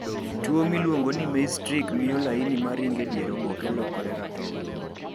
Tuwo miluongo ni Maize Streak miyo laini maringe dier oboke lokore ratong'.